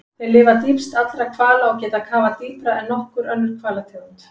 Þeir lifa dýpst allra hvala og geta kafað dýpra en nokkur önnur hvalategund.